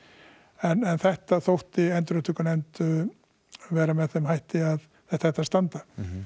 en þetta þótti endurupptökunefnd vera með þeim hætti að þetta ætti að standa